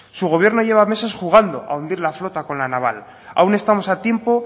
su gobierno lleva meses jugando a hundir la flota con la naval aún estamos a tiempo